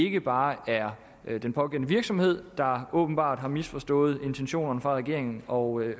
ikke bare er den pågældende virksomhed der åbenbart har misforstået intentionerne fra regeringen og